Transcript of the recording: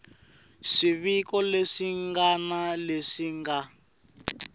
swiviko leswi ngana leswi nga